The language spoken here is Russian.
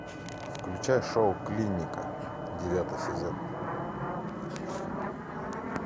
включай шоу клиника девятый сезон